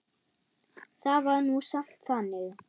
Það var nú samt þannig.